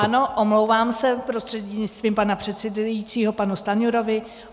Ano, omlouvám se prostřednictvím pana předsedajícího panu Stanjurovi.